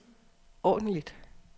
ordentligt